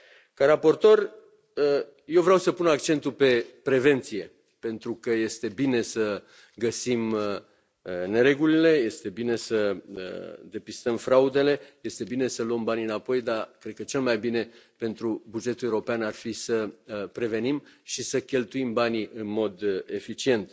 Ca raportor, eu vreau să pun accentul pe prevenție, pentru că este bine să găsim neregulile, este bine să depistăm fraudele, este bine să luăm banii înapoi, dar cred că cel mai bine pentru bugetul european ar fi să prevenim și să cheltuim banii în mod eficient.